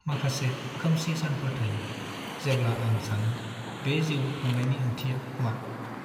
माखासे खोमसि सानफोर थायो जेब्ला आं सानो बे जिउ खांनायनि ओंथिया मा?